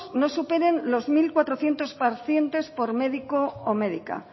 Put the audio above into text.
no superen los mil cuatrocientos pacientes por médico o médica